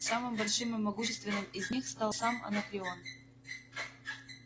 самым большим и могущественным из них стал сам анакреон